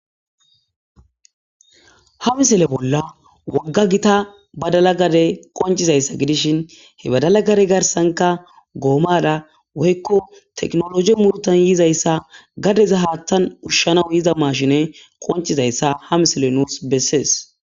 ha misile bolla wogga gita badalagade qoncizayssa gidishin he badalagade garsanka goomada woykko teknologi murtan yizayssa gadeza haattan urshanaw yiza mashine qoncizayssa ha misile nuus bessees